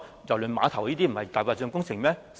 郵輪碼頭不是"大白象"工程嗎？